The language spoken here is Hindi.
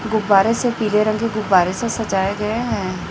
गुब्बारे से पीले रंग के गुब्बारे से सजाये गए है।